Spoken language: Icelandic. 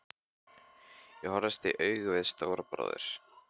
Ég horfðist í augu við Stóra bróður.